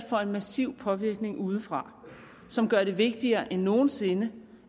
for en massiv påvirkning udefra som gør det vigtigere end nogen sinde